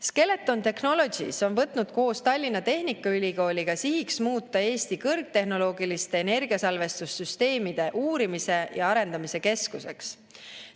Skeleton Technologies on võtnud koos Tallinna Tehnikaülikooliga sihiks muuta Eesti kõrgtehnoloogiliste energiasalvestussüsteemide uurimise ja arendamise keskuseks.